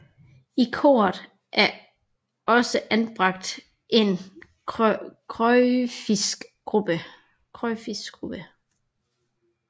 I Koret er også anbragt en krucifiksgruppe